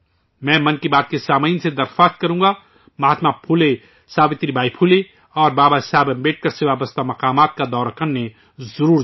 میں 'من کی بات ' کے سامعین سے اپیل کروں گا کہ وہ مہاتما پھولے، ساوتری بائی پھولے اور بابا صاحب امبیڈکر سے جڑے مقامات کو دیکھنے کے لئے ضرور جائیں